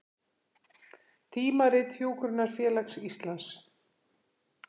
Tímarit Hjúkrunarfélags Íslands